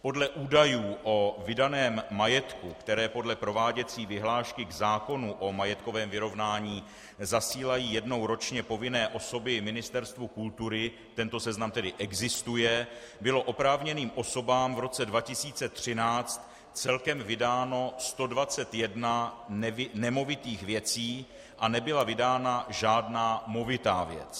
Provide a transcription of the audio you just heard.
Podle údajů o vydaném majetku, které podle prováděcí vyhlášky k zákonu o majetkovém vyrovnání zasílají jednou ročně povinné osoby Ministerstvu kultury - tento seznam tedy existuje - bylo oprávněným osobám v roce 2013 celkem vydáno 121 nemovitých věcí a nebyla vydána žádná movitá věc.